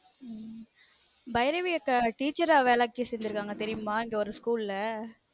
உம் பைரவி அக்கா teacher அ வேலைக்கு சேர்ந்துருக்காங்க தெரியுமா இங்க ஒரு school ல